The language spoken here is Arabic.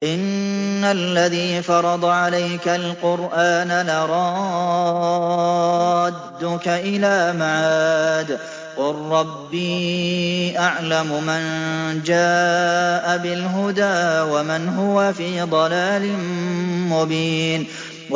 إِنَّ الَّذِي فَرَضَ عَلَيْكَ الْقُرْآنَ لَرَادُّكَ إِلَىٰ مَعَادٍ ۚ قُل رَّبِّي أَعْلَمُ مَن جَاءَ بِالْهُدَىٰ وَمَنْ هُوَ فِي ضَلَالٍ مُّبِينٍ